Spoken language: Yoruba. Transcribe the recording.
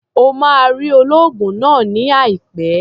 O máa rí olóògùn náà ní àìpẹ́.